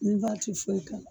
Niva te foyi k'ala